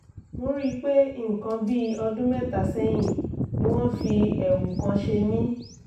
mo rí i pé nǹkan bí ọdún mẹ́ta sẹ́yìn ni wọ́n fi ẹ̀wù kan ṣe mí